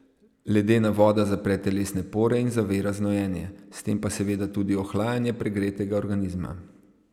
Ledena voda zapre telesne pore in zavira znojenje, s tem pa seveda tudi ohlajanje pregretega organizma.